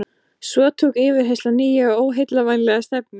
Svo tók yfirheyrslan nýja og óheillavænlega stefnu.